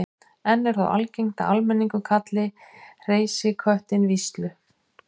enn er þó algengt að almenningur kalli hreysiköttinn víslu